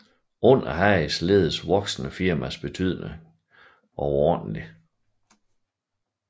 Under Hages ledelse voksede firmaets betydning overordentlig